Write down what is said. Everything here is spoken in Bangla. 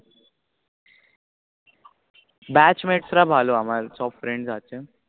batch mate রা ভালো আমার সব Friends আছে